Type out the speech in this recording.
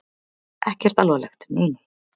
Ekkert alvarlegt, nei nei.